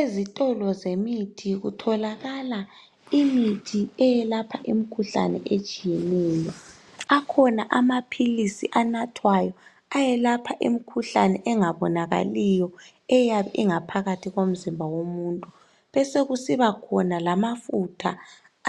Ezitolo Zemithi kutholakala imithi eyelapha imkhuhlane etshiyeneyo akhona amaphilisi anathwayo ayelapha imkhuhlane engabonakaliyo eyabe ingaphakathi komzimba womuntu besokusiba khona lamafutha